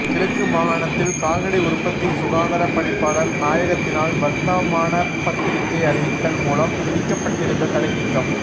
கிழக்கு மாகாணத்தில் கால்நடை உற்பத்தி சுகாதார பணிப்பாளர் நாயகத்தினால் வர்த்தமானப் பத்திரிகை அறிவித்தல் மூலம் விதிக்கப்பட்டிருந்த தடை நீக்கம்